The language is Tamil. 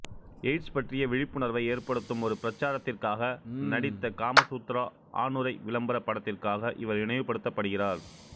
எய்ட்ஸ் பற்றிய விழிப்புணர்வை ஏற்படுத்தும் ஒரு பிரசாரத்திற்காக நடித்த காமசூத்ரா ஆணுறை விளம்பரப் படத்திற்காக இவர் நினைவுபடுத்தப்படுகிறார்